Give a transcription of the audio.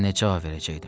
Mən nə cavab verəcəkdim?